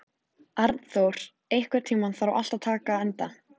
Arnþór, einhvern tímann þarf allt að taka enda.